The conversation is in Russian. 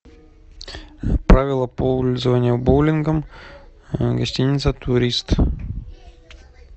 правила пользования боулингом гостиница турист